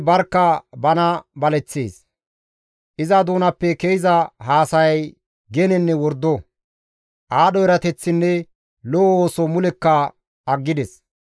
Iza doonappe ke7iza haasayay genenne wordo; aadho erateththinne lo7o ooso mulekka aggides.